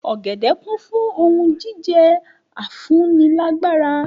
Ògèdè kún fún ohun jíjẹ afúnilágbára